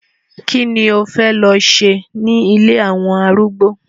Kí ni o fẹ́ lọ ṣe ní ilé àwọn arúgbó?